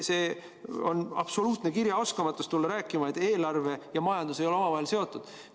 See on absoluutne kirjaoskamatus tulla rääkima, et eelarve ja majandus ei ole omavahel seotud.